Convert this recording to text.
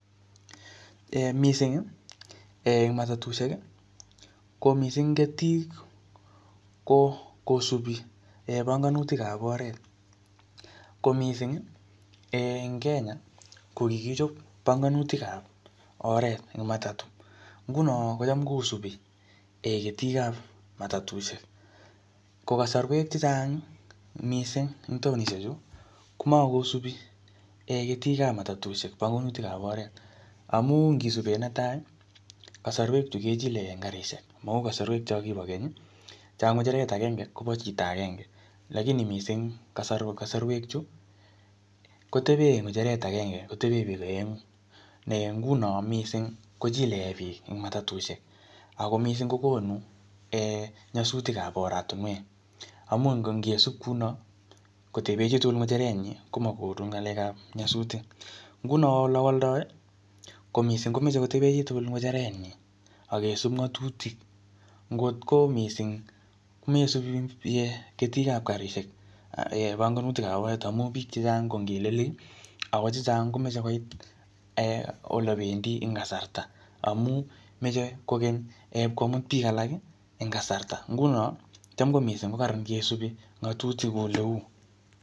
Missingi en matatushek ko mising ketik kosupi bongonutikab oret ko mising en Kenya kokikichop bongonutikab oret en matatu ngunon kocham kosupi ketikab matatushek ko kosorwek chechang mising en taonishechu komokosupi ketikab matatushek bongonutikab oret amun ngisupen neta kosorwechu kechilekei en garishek mou kosorwek chon kibo kenyi chon Ki kecheret agenge Kobo chito akenge lagini mising kosorwe chu kotepe kecheret agenge ngunon mising kochilekee biik en matatushek Ako mising kokonu nyosutikab oratinwek kamun ngisup Ngunon kounon koteben chitugul ngecherenyin komokonu ngalekap nyosutik ngunon ole woldoi ko mising komoche koteben chitugul ngecherenyin akesub ngotutik ngotko mising meisubi ketikab garishek bongonutikab oret ngamun biik chechang ko ngelelik Ako chechang komoche koit olependi en kasarta amun moche koken ipkomut biik alak en kasarta ngunon kotam kokaran ngesupi ngotutik en ole uu